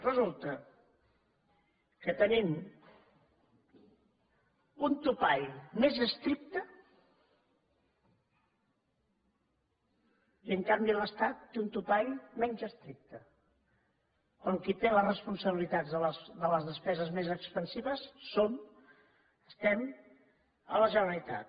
resulta que tenim un topall més estricte i en canvi l’estat té un topall menys estricte quan qui té les responsabilitats de les despeses més expansives som estem a la generalitat